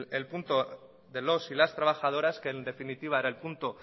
el punto de los y las trabajadoras que en definitiva era el punto